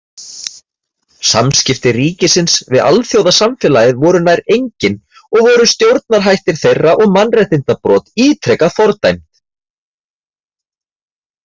Samskipti ríkisins við alþjóðasamfélagið voru nær engin og voru stjórnarhættir þeirra og mannréttindabrot ítrekað fordæmd.